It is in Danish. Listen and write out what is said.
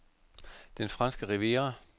Den Franske Riviera